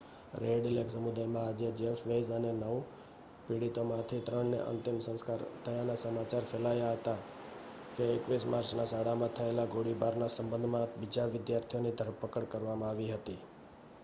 red Lake સમુદાયમાં આજે Jeff Weise અને નવ પીડિતોમાંથી ત્રણનાં અંતિમ સંસ્કાર થયાના સમાચાર ફેલાયા હતા કે 21 માર્ચના શાળામાં થયેલા ગોળીબારના સંબંધમાં બીજા વિદ્યાર્થીની ધરપકડ કરવામાં આવી હતી